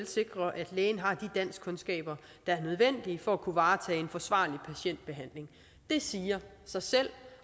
sikre at lægen har de danskkundskaber der er nødvendige for at kunne varetage en forsvarlig patientbehandling det siger sig selv